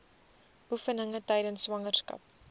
oefeninge tydens swangerskap